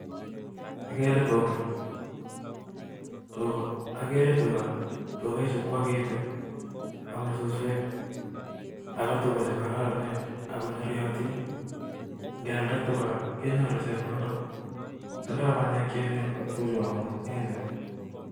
Ageree tuga agetu AME suswek ago Tuga chekararanen tindoi chepkondok chechang ngealda